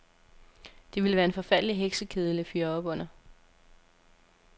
Det ville være en forfærdelig heksekedel at fyre op under.